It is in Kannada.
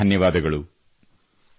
ತುಂಬಾ ತುಂಬಾ ಧನ್ಯವಾದಗಳು